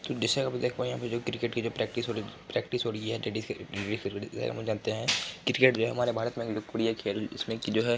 तो दृश्य में जो देख रहे है क्रिकेट की जो प्रैक्टिस हो रही है प्रैक्टिस हो रही है जानते है क्रिकेट हमारे भारत में एक लोकप्रिय खेल इसमें की जो है --